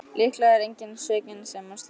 Líklega er enginn svikinn sem á slíka konu.